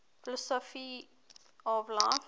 philosophy of life